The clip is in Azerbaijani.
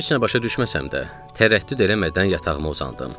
Heç nə başa düşməsəm də, tərəddüd eləmədən yatağıma uzandım.